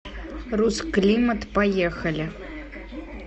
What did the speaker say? русклимат поехали